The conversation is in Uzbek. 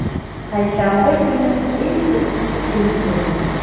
Payshanba kuni eng issiq kun bo‘ladi.